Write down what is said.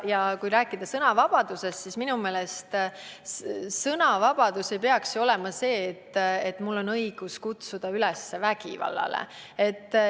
Ja kui rääkida sõnavabadusest, siis minu meelest ei peaks sõnavabadus olema see, et mul on õigus kutsuda üles vägivallale.